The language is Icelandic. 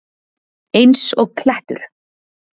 Eins og klettur!